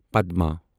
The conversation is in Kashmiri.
پدما